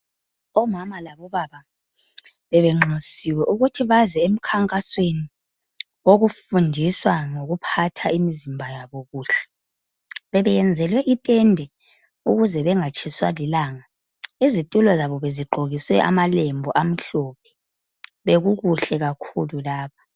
Omama labo baba bebenxusiwe ukuthi baze emkhankasweni wokufundiswa ngokuphatha imizimba yabo kuhle, bebe yenzelwe itende ukuze bengatshiswa lilanga , izitulo zabo bezigqokiswe amalembu amhlophe, bekukuhle kakhulu lapho.